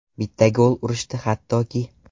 Bitta gol urishdi hattoki.